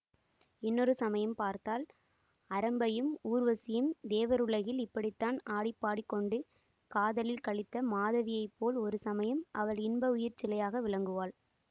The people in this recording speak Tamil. இன்னொரு சமயம் பார்த்தால் அரம்பையும் ஊர்வசியும் தேவருலகில் இப்படித்தான் ஆடிப்பாடிக்கொண்டு காதலில் களித்த மாதவியைப் போல் ஒரு சமயம் அவள் இன்ப உயிர் சிலையாக விளங்குவாள்